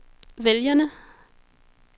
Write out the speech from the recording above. vælgerne